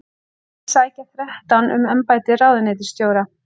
Alls sækja þrettán um embætti ráðuneytisstjóra